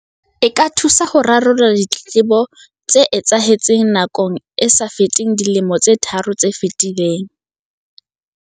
E ka thusa ho rarolla ditletlebong tse etsahetseng nakong e sa feteng dilemo tse tharo tse fetileng.